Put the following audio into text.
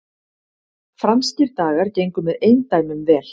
Franskir dagar gengu með eindæmum vel